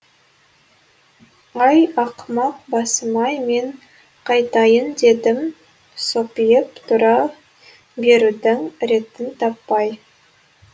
ай ақымақ басым ай мен қайтайын дедім сопиып тұра берудің ретін таппай